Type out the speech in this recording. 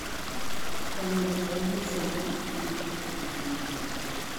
konyo loso yor somo ne nyithindo ma piny ngima